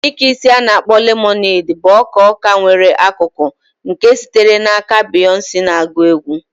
Ike isi a na akpo lemonade bụ ọka ọka nwere akụkụ nke sitere aka Beyoncé na-agụ egwú.